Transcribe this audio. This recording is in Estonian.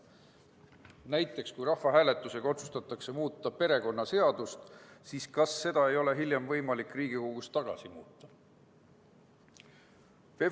Näiteks kui rahvahääletusega otsustatakse muuta perekonnaseadust, siis kas seda ei ole hiljem võimalik Riigikogus tagasi muuta?